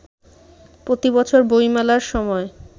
প্রতিবছর বইমেলার সময়